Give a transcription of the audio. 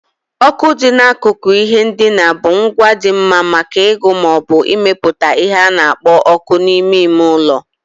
Oku dị n'akụkụ ihe ndina bụ ngwa dị mma maka ịgụ ma ọ bụ ịmepụta ihe na-ekpo ọkụ n'ime ime ụlọ.